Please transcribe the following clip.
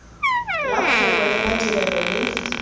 la kgwebo le madirelo le